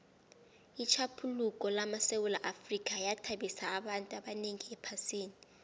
itjhaphuluko lamasewula afrika yathabisa abantu abanengi ephasini